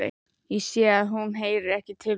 Sé að hún heyrir ekki til mín.